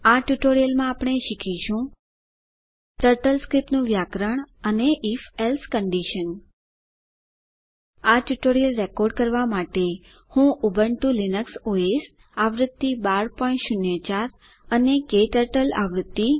આ ટ્યુટોરીયલ માં આપણે શીખીશું ટર્ટલ સ્ક્રિપ્ટનું વ્યાકરણ અને if એલ્સે કન્ડીશન આ ટ્યુટોરીયલ રેકોર્ડ કરવા માટે હું ઉબુન્ટુ લીનક્સ ઓએસ આવૃત્તિ 1204 અને ક્ટર્ટલ આવૃત્તિ